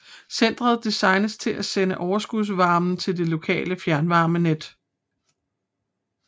Centret designes til at sende overskudsvarmen til det lokale fjernvarmenet